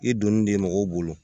I donnen de mɔgɔw bolo